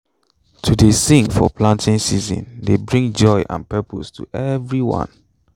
to dey sing for planting season dey bring joy and purpose to everyone